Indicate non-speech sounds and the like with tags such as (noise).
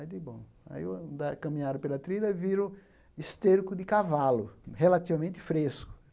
(unintelligible) bom... Aí anda caminharam pela trilha e viram esterco de cavalo, relativamente fresco.